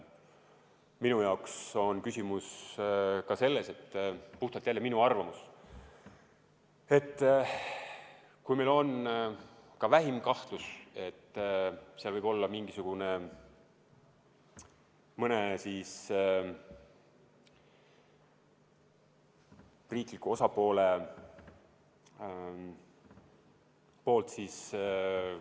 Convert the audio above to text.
Minu jaoks on küsimus ka selles – puhtalt minu arvamus –, et kui meil on ka vähim kahtlus, et seal võib olla mõne riikliku osapoole poolt mingisugune ...